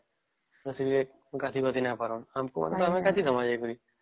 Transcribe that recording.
ନାଇଁ ଆସିଲେ ଗାଧେଇ ଗଉଧେଇ ନାଇଁ ପରା ଆମେ ତ ଗାଧେଇ ପରିବା